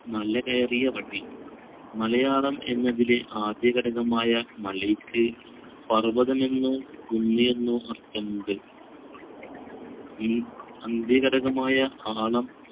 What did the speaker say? മല കയറിയ വഴി. മലയാളം എന്നതിൽ ആദ്യഘടകമായ മലക്ക് പർവ്വതമെന്നോ കുന്നെന്നോ അർത്ഥമുണ്ട്. ഈ അന്ത്യഘടകമായ ആളം